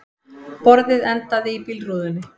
Borðið endaði í bílrúðunni